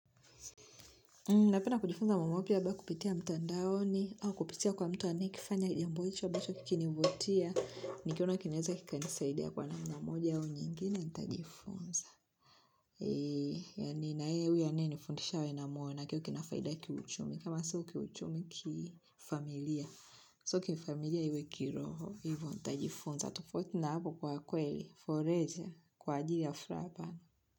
Napenda kujifunza mambo mapya labda kupitia mtandaoni au kupitia kwa mtu ane kifanya jambo hicho ambacho kikinivutia nikiona kinaweza kika nisaidia kwa namna moja au nyingine ntajifunza yani na yeye huyo anaye nifundisha awe na moya na kiwe kinafaida kiuchumi kama sio kiuchumi kifamilia sio kifamilia iwe kiroho ivo ntajifunza tufotu na hapo kwa kweli forlezer kwa ajili ya frahaa.